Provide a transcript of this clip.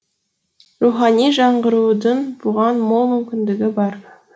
рухани жаңғырудың бұған мол мүмкіндігі бар